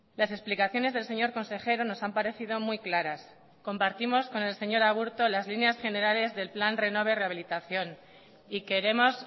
las explicaciones del señor consejero nos han parecido muy claras compartimos con el señor aburto las líneas generales del plan renove rehabilitación y queremos